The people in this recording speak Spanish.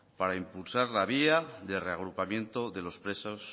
para impulsar la vía de reagrupamiento de los presos